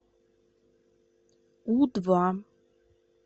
у два